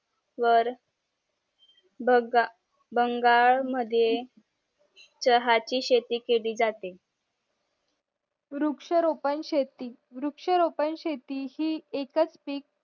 वर भाग बंगाल मध्ये चहा ची शेती केली जाते वृक्षारोपण शेती हि एकच पीक